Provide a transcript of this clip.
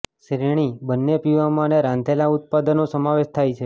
શ્રેણી બંને પીવામાં અને રાંધેલા ઉત્પાદનો સમાવેશ થાય છે